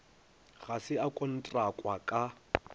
ga se a kontrakwa ka